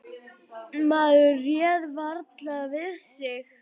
Maður réð varla við sig.